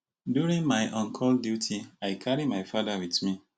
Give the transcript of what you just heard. during my oncall duty i carry my father wit me